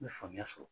N bɛ faamuya sɔrɔ